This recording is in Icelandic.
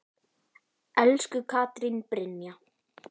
Elsku Katrín Brynja.